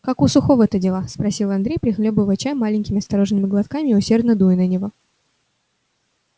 как у сухого-то дела спросил андрей прихлёбывая чай маленькими осторожными глотками и усердно дуя на него